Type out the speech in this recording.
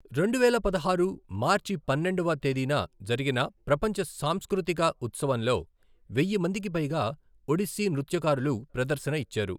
రెండువేల పదహారు మార్చి పన్నెండవ తేదీన జరిగిన ప్రపంచ సాంస్కృతిక ఉత్సవంలో, వెయ్య మందికి పైగా ఒడిస్సీ నృత్యకారులు ప్రదర్శన ఇచ్చారు.